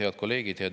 Head kolleegid!